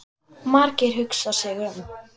Margeir hugsar sig um.